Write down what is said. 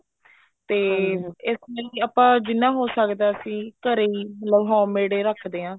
ਤੇ ਇਸ ਲਈ ਆਪਾਂ ਜਿੰਨਾ ਹੋ ਸਕਦਾ ਅਸੀਂ ਘਰੇ ਹੀ ਮਤਲਬ home made ਹੀ ਰੱਖਦੇ ਹਾਂ